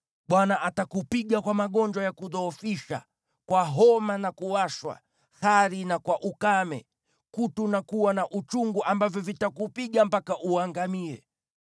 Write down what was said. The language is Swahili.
Bwana atakupiga kwa magonjwa ya kudhoofisha, kwa homa na kuwashwa, hari na kwa ukame, kutu na kuwa na uchungu ambavyo vitakupiga mpaka uangamie.